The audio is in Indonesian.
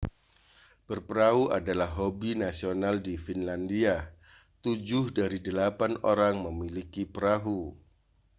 berperahu adalah hobi nasional di finlandia tujuh dari delapan orang memiliki perahu